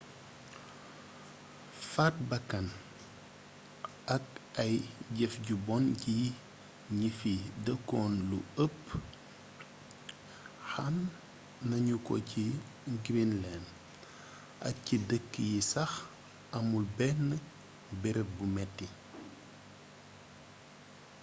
faat bakkan ak ay jeef ju bon ci gni fi deekul lu eepp xam nagnuko ci greenland ak ci deek yi sax amul bénn beereeb bu métti